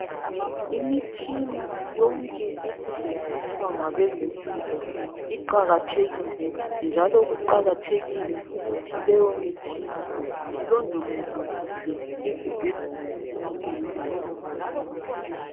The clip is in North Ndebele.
Imitshina yonke esetshenziswa ngabezempilo iqakathekile njalo kuqakathekile ukuthi leyomitshina ilondolozwe kuhle ezibhedlela lasemakilinika.